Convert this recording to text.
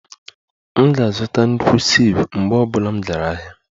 M ga-azụta nnukwu sieve mgbe ọ bụla m gara ahịa